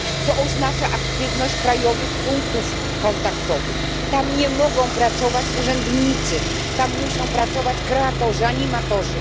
To oznacza aktywność krajowych punktów kontaktowych. Tam nie mogą pracować urzędnicy, tam muszą pracować kreatorzy, animatorzy.